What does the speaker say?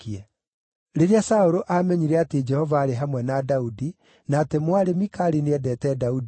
Rĩrĩa Saũlũ aamenyire atĩ Jehova aarĩ hamwe na Daudi, na atĩ mwarĩ Mikali nĩendeete Daudi rĩ,